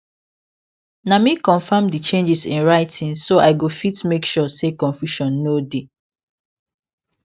na me confirm d changes in writing so i go fit make sure say confusion no dey